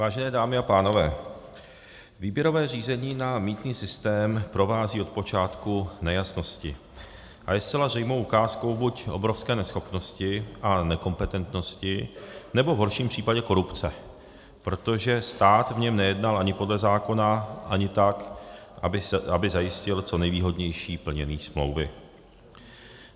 Vážené dámy a pánové, výběrové řízení na mýtný systém provází od počátku nejasnosti a je zcela zřejmou ukázkou buď obrovské neschopnosti a nekompetentnosti, anebo v horším případě korupce, protože stát v něm nejednal ani podle zákona, ani tak, aby zajistil co nejvýhodnější plnění smlouvy.